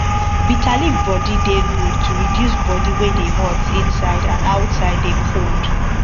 bitter leaf water dey good to reduce body wey dey hot inside and outside dey cold